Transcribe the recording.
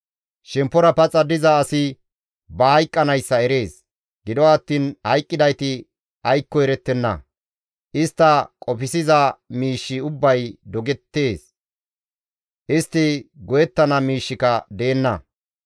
Shemppora paxa diza asi ba hayqqanayssa erees; gido attiin hayqqidayti aykkoka erettenna; istta qofsiza miishshi ubbay dogettees; istti go7ettana miishshika deenna.